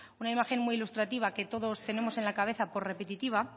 una imagen muy ilustrativa que todos tenemos en la cabeza por repetitiva